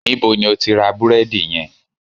Níbo ni o ti ra búrédì yen?